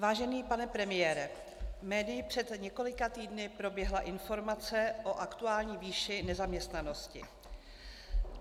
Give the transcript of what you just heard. Vážený pane premiére, médii před několika týdny proběhla informace o aktuální výši nezaměstnanosti.